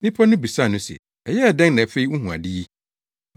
Nnipa no bisaa no se, “Ɛyɛɛ dɛn na afei wuhu ade yi?”